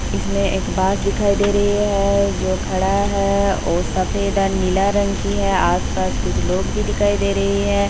इस में एक बांस दिखाई दे रही है जो खड़ा है वो सफेद और नीला रंग की है आस-पास कुछ लोग भी दिखाई दे रही है।